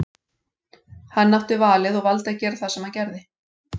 Hann átti valið og valdi að gera það sem hann gerði.